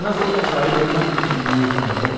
Sənə zorla sahib olmaq kimi bir niyyətim yox.